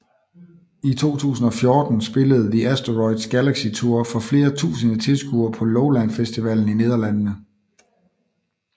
I 2014 spillede The Asteroids Galaxy Tour for flere tusinde tilskuere på Lowlands Festivalen i Nederlandene